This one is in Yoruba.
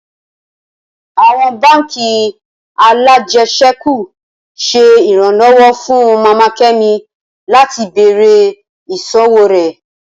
Awọn bánk alájẹsẹ́kù ṣe iranlọwọ fun Mama Kemi lati bẹrẹ iṣowo rẹ